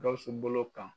Gawusu bolo kan